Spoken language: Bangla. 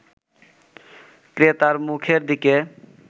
ক্রেতার মুখের দিকে